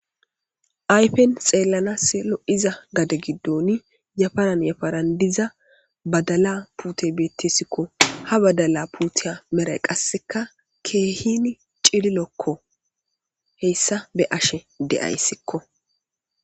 ayfen xeellanaselo7iza gade giddon yafanan yafanan diza badala pute beettessikko ha badala puuteya meray qasseka keehini cililokko heyssa be ashe de7ayssikko